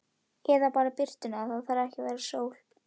Eða bara birtuna, það þarf ekki að vera sól.